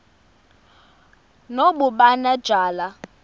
nobumanejala